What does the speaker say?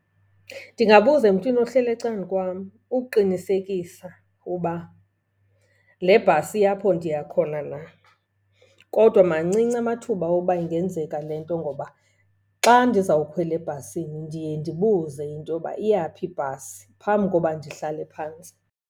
Ndingabuza emntwini ohleli ecan'kwam ukuqinisekisa uba le bhasi iya apho ndiya khona na. Kodwa mancinci amathuba woba ingenzeka le nto ngoba xa ndizawukhwela ebhasini ndiye ndibuze into yoba iya phi ibhasi phambi koba ndihlale phantsi.